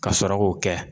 Ka sɔrɔ k'o kɛ